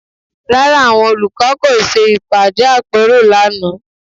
Rárá, àwọn olùkọ́ kò ṣe ìpàdé àpérò lánàá